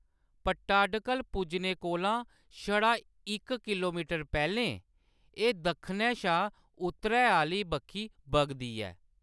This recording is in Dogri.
पट्टाडकल पुज्जने कोला छड़ा इक किलोमीटर पैह्‌‌‌लें, एह्‌‌ दक्खनै शा उत्तरै आह्‌ली बक्खी बगदी ऐ।